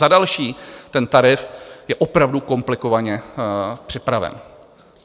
Za další, ten tarif je opravdu komplikovaně připraven.